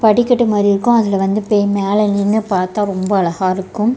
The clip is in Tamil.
படிக்கட்டு மாரி இருக்கு அதுலெ வந்து பெய் மேலெ நின்னு பார்த்தா ரொம்ப அழகா இருக்கும்.